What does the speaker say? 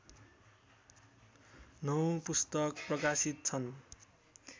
नौ पुस्तक प्रकाशित छन्